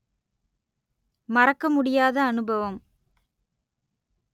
மறக்க முடியாத அனுபவம்